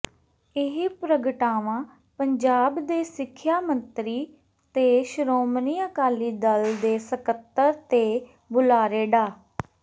ਇਹ ਪ੍ਰਗਟਾਵਾ ਪੰਜਾਬ ਦੇ ਸਿੱਖਿਆ ਮੰਤਰੀ ਤੇ ਸ੍ਰੋਮਣੀ ਅਕਾਲੀ ਦਲ ਦੇ ਸਕੱਤਰ ਤੇ ਬੁਲਾਰੇ ਡਾ